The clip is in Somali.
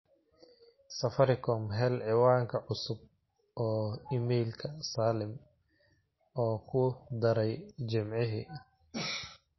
safaricom hel ciwaanka cusub oo iimaylka salim oo ku dharay jimcihii